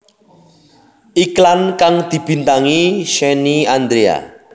Iklan kang dibintangi Shenny Andrea